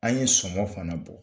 An ye sɔmɔ fana bɔ.